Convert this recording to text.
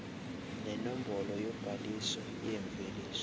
nenombolo yobhaliso yemveliso